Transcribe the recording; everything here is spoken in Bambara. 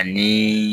Ani